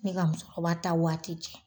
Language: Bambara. Ne ka musokɔrɔba ta waati cɛ.